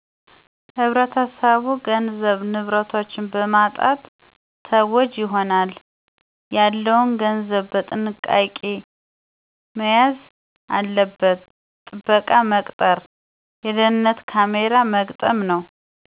ህብረተሰቡ ገንዘብ፣ ንብረቶች በማጣት ተጎጂ ይሆናል። ያለውን ገንዘብ በጥንቃቄ መያዝ አለበት። ጠበቃ መቅጠር፣ የደህንነት ካሜራ መግጠም ነዉ።